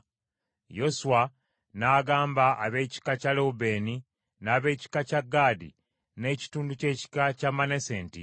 Yoswa n’agamba ab’ekika kya Lewubeeni, n’ab’ekika kya Gaadi n’ekitundu ky’ekika kya Manase nti,